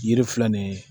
Yiri filɛ nin ye